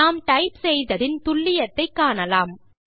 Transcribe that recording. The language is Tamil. நாம் டைப் செய்ததின் துல்லியத்தை காணலாம்